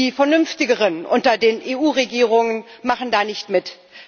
Die vernünftigeren unter den EU Regierungen machen da nicht mit.